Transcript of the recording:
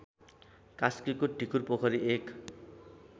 कास्कीको ढिकुरपोखरी १